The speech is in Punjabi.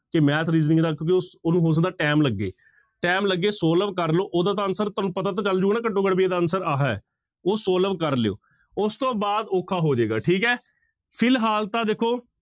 ਕਿ math, reasoning ਦਾ ਕਿਉਂਕਿ ਉਹ ਉਹਨੂੰ ਹੋ ਸਕਦਾ time ਲੱਗੇ time ਲੱਗੇ solve ਕਰ ਲਓ ਉਹਦਾ ਤਾਂ answer ਤੁਹਾਨੂੰ ਪਤਾ ਤਾਂ ਚੱਲ ਜਾਊਗਾ ਨਾ ਘੱਟੋ ਘੱਟ ਵੀ ਇਹਦਾ answer ਆਹ ਹੈ ਉਹ solve ਕਰ ਲਇਓ, ਉਸ ਤੋਂ ਬਾਅਦ ਔਖਾ ਹੋ ਜਾਏਗਾ ਠੀਕ ਹੈ ਫਿਲਹਾਲ ਤਾਂ ਦੇਖੋ